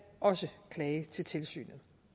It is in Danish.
også klage til tilsynet